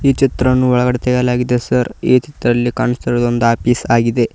ಈ ಚಿತ್ರವನ್ನು ಒಳಗಡೆ ತೆಗೆಯಲಾಗಿದೆ ಸರ್ ಈ ಚಿತ್ರದಲ್ಲಿ ಕಾಣಿಸುತ್ತಿರುವುದು ಒಂದು ಆಫೀಸ್ ಆಗಿದೆ.